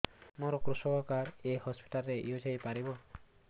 ମୋର କୃଷକ କାର୍ଡ ଏ ହସପିଟାଲ ରେ ୟୁଜ଼ ହୋଇପାରିବ